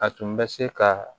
A tun bɛ se ka